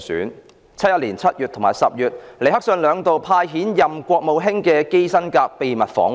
1971年7月及10月，尼克遜兩度派遣國務卿基辛格秘密訪華。